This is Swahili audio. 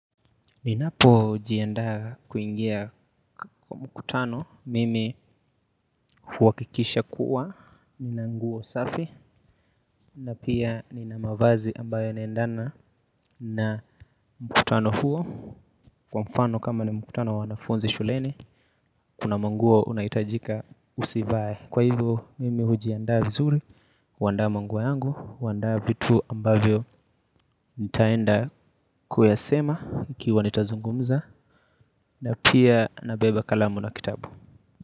Ninapojiandaa kuingia kwa mkutano, mimi huhakikisha kuwa, nina nguo safi, na pia nina mavazi ambayo yanaendana na mkutano huo, kwa mfano kama ni mkutano wanafunzi shuleni, kuna manguo unaitajika usivae. Kwa hivyo, mimi hujiandaa vizuri, huandaa manguo yangu, huandaa vitu ambayo nitaenda kuyasema, ikiwa nitazungumza, na pia nabeba kalamu na kitabu.